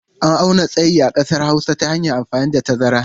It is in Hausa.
An auna tsayi a ƙasar Hausa ta hanyar amfani da tazara.